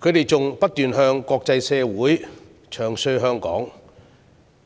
他們不斷在國際社會中傷香港，